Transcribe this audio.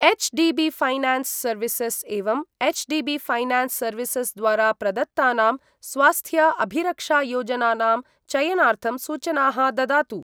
HDB Finance services एवं HDB Finance services द्वारा प्रदत्तानां स्वास्थ्य अभिरक्षायोजनानां चयनार्थं सूचनाः ददातु।